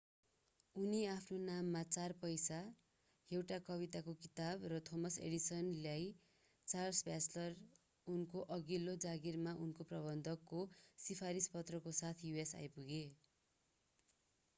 उनी आफ्नो नाममा 4 पैसा एउटा कविताको किताब र थोमस एडिसनलाई चार्ल्स ब्याचलर उनको अघिल्लो जागिरमा उनको प्रबन्धक को सिफारिस पत्रको साथमा us आइपुगे।